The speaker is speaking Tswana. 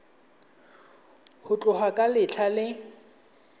go tloga ka letlha le